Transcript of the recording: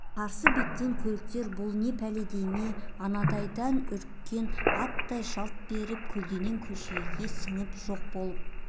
қарсы беттеген көліктер бұл не пәле дей ме анандайдан үріккен аттай жалт беріп көлденең көшелерге сіңіп жоқ болып